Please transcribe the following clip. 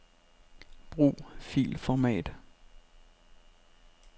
Brug filformat.